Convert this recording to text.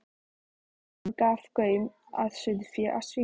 Hann gaf gaum að sauðfé, að svínum.